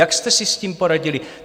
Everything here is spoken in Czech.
Jak jste si s tím poradili?